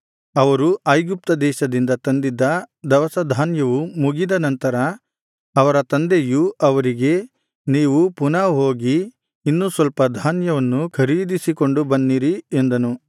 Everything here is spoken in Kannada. ಅವರು ಐಗುಪ್ತ ದೇಶದಿಂದ ತಂದಿದ್ದ ದವಸಧಾನ್ಯವು ಮುಗಿದ ನಂತರ ಅವರ ತಂದೆಯು ಅವರಿಗೆ ನೀವು ಪುನಃ ಹೋಗಿ ಇನ್ನೂ ಸ್ವಲ್ಪ ಧಾನ್ಯವನ್ನು ಖರೀದಿಸಿಕೊಂಡು ಬನ್ನಿರಿ ಎಂದನು